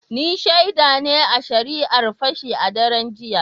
Ni shaida ne a shari’ar Fashi a daren jiya.